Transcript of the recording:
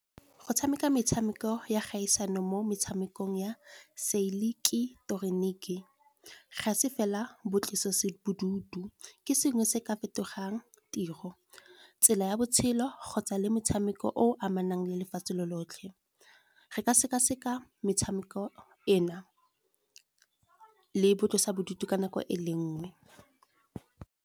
Go tshameka metshameko ya kgaisano mo metshamekong ya se ileketroniki, ga se fela bo tlosa bodutu. Ke sengwe se ka fetolang tiro tse ya botshelo kgotsa le metshameko o amanang le lefatshe lo lotlhe. Re ka seka-seka metshameko e na le boitlosa bodutu ka nako e le nngwe.